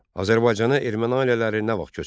Azərbaycana erməni ailələri nə vaxt köçürüldü?